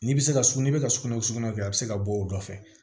N'i bɛ se ka n'i bɛ ka sugunɛ sugunɛ kɛ a bɛ se ka bɔ o dɔ fɛ